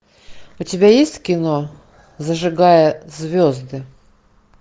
у тебя есть кино зажигая звезды